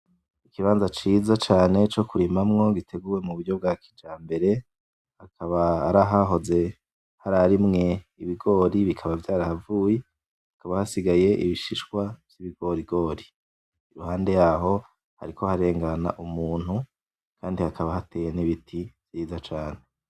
Ikibanza ciza cane co kurimamwo giteguye muburyo bwa kijambere akaba hari ahahoze bararimwe ibigori bikaba vyarahavuye, hakaba hasigaye ibishishwa vyibigorigori, iruhande yaho hariko harengana umuntu Kandi hakaba hateye nibiti vyiza cane.